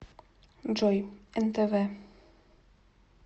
джой нтв